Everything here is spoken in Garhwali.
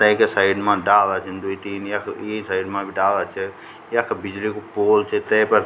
तैकी साइड मा डाला छिन द्वि तीन यख ई साइड मा भी डाला छ यख बिजली कु पोल च तैफर --